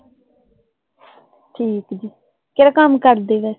ਠੀਕ ਜੀ ਕਿਹੜਾ ਕੰਮ ਕਰਦੇ ਹੈਂ?